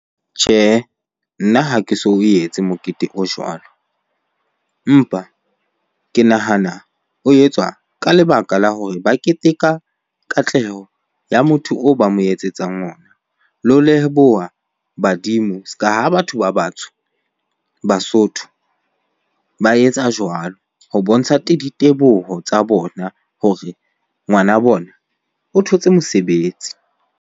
Tjhehe, nna ha ke so o etse mokete o jwalo. Empa ke nahana o etswa ka lebaka la hore ba keteka katleho ya motho o ba mo etsetsang ona. Le ho leboha badimo se ka ha batho ba batsho, Basotho ba etsa jwalo ho bontsha diteboho tsa bona hore ngwana bona o thotse mosebetsi.